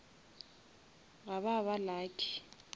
ga ba ba lucky